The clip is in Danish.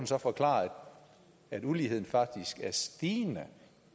så forklare at uligheden faktisk er stigende